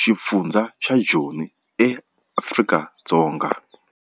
xifundzha xa Joni, Afrika-Dzonga.